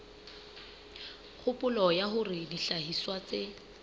kgopolo ya hore dihlahiswa tse